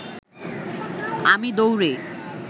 আমি দৌড়ে